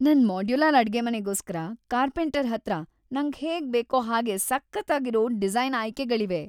ನನ್ ಮಾಡ್ಯುಲರ್ ಅಡ್ಗೆಮನೆಗೋಸ್ಕರ ಕಾರ್ಪೆಂಟರ್ ಹತ್ರ ನಂಗ್‌ ಹೇಗ್‌ ಬೇಕೋ ಹಾಗೇ ಸಖತ್ತಾಗಿರೋ ಡಿಸೈನ್‌ ಆಯ್ಕೆಗಳಿವೆ.